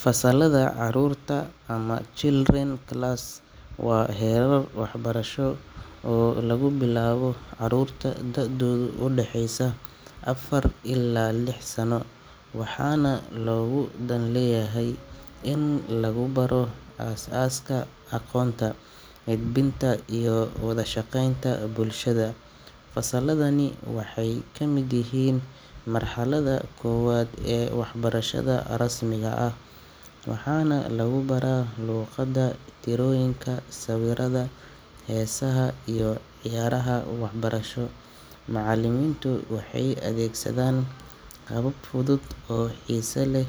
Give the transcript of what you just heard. Fasallada carruurta ama children class waa heerar waxbarasho oo lagu bilaabo caruurta da’doodu u dhaxayso afar ilaa lix sano, waxaana looga dan leeyahay in lagu baro aasaaska aqoonta, edbinta, iyo wada shaqeynta bulshada. Fasalladani waxay ka mid yihiin marxaladda koowaad ee waxbarashada rasmiga ah, waxaana lagu baraa luqadda, tirooyinka, sawirrada, heesaha iyo ciyaaraha waxbarasho. Macallimiintu waxay adeegsadaan habab fudud oo xiise leh